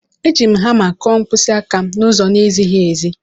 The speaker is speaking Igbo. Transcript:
Eji m hama kụọ mkpịsị aka m n'ụzọ na-ezighị ezi